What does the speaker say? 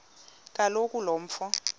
kaloku lo mfo